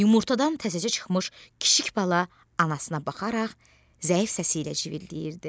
Yumurtadan təzəcə çıxmış kiçik bala anasına baxaraq zəif səsi ilə civilləyirdi.